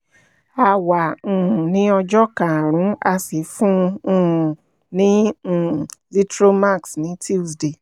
a wà um ní ọjọ́ karùn-ún a sì fún um un ní um zithromax ní tuesday